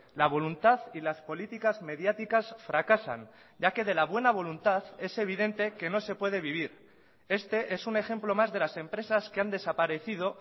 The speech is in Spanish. la voluntad y las políticas mediáticas fracasan ya que de la buena voluntad es evidente que no se puede vivir este es un ejemplo más de las empresas que han desaparecido